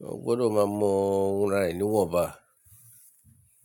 yan ò gbọdọ̀ máa mọ wora re ní wọnba.